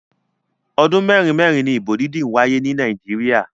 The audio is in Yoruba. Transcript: Ọdún mẹ́rin mẹ́rin ni ìbò dídí ń wáyé ni Nàìjíríà.